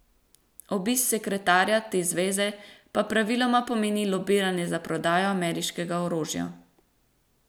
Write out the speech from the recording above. Obisk sekretarja te zveze pa praviloma pomeni lobiranje za prodajo ameriškega orožja.